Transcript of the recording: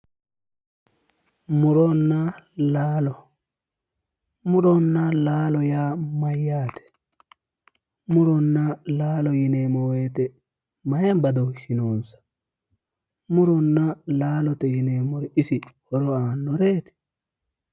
Muronna laalo. muronna laalo yaa mayyaate? muronna laalo yineemmo woyiite maayi badooshshi noonsa? muronna laalo yineemmori isi horo aannoreeti?